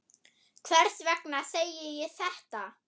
Hvers vegna segi ég þetta?